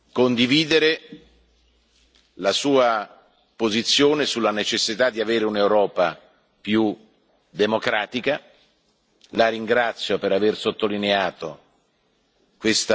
Come Presidente del Parlamento non posso che condividere la Sua posizione sulla necessità di avere un'Europa più democratica.